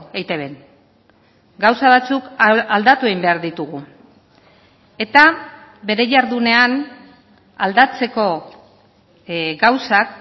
eitbn gauza batzuk aldatu egin behar ditugu eta bere jardunean aldatzeko gauzak